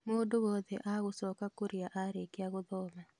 Mũndũ wothe agũcoka kũrĩa arĩkia gũthoma